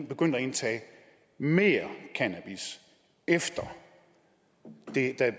begyndt at indtage mere cannabis efter